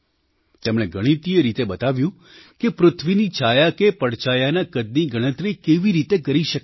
તેમણે ગણિતીય રીતે બતાવ્યું કે પૃથ્વીની છાયા કે પડછાયાના કદની ગણતરી કેવી રીતે કરી શકાય